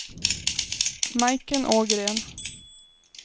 Majken Ågren